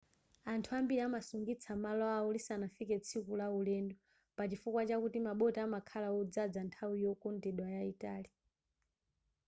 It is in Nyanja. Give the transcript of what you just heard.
anthu ambiri amasungitsa malo awo lisanafike tsiku la ulendo pachifukwa chakuti maboti amakhala odzaza nthawi yokondedwa yayitali